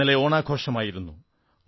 ഇന്നലെ ഓണാഘോഷമായിരുന്നു